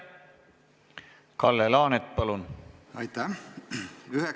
Kalle Laanet, palun!